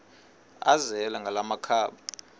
azele ngala makhaba